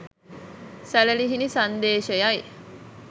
සැළලිහිණි සන්දේශයයි.